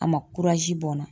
A ma bɔn n na.